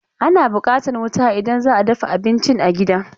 Ana buƙatan wuta idan za a dafa abincin a gida.